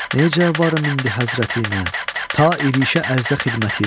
Necə varım indi Həzrətinə ta irişə ərzə xidmətinə?